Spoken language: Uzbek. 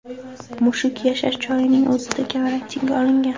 Mushuk yashash joyining o‘zida karantinga olingan.